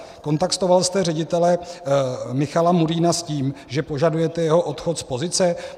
Kontaktoval jste ředitele Michala Murína s tím, že požadujete jeho odchod z pozice?